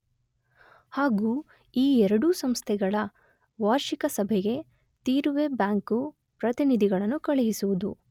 ಹಾಗೂ ಈ ಎರಡೂ ಸಂಸ್ಥೆಗಳ ವಾರ್ಷಿಕ ಸಭೆಗೆ ತೀರುವೆ ಬ್ಯಾಂಕು ಪ್ರತಿನಿಧಿಗಳನ್ನು ಕಳುಹಿಸುವುದು.